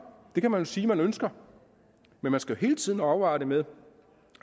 det kan man jo sige at man ønsker men man skal hele tiden afveje det med